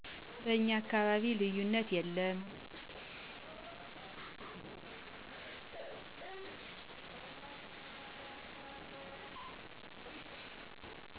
በእኛ አካባቢ ልዩነት የለም።